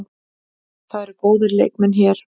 Það eru góðir leikmenn hér.